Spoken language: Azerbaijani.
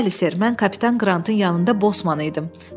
Bəli, ser, mən kapitan Qrantın yanında Bosman idim.